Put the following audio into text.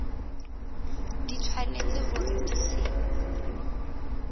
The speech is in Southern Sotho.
di tshwanetse hore di se